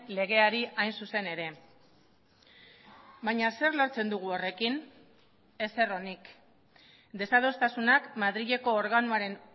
legeari hain zuzen ere baina zer lortzen dugu horrekin ezer onik desadostasunak madrileko organoaren